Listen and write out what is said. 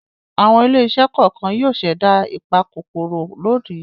Àwọn ilé-iṣẹ́ kọ̀ọ̀kan yóò ṣẹ̀dá ìpakòkòrò lónìí.